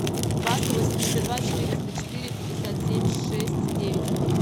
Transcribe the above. два сто восемьдесят два четыреста четыре пятьдесят семь шесть девять